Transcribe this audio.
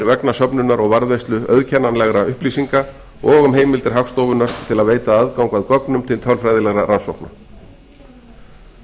vegna söfnunar og varðveislu auðkennanlegra upplýsinga og um heimildir hagstofunnar til að veita aðgang að gögnum til tölfræðilegra rannsókna frumvarp þetta